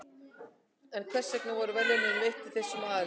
En hvers vegna voru verðlaunin veitt þessum aðilum?